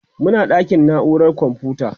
Muna ɗakin naurar komfuta.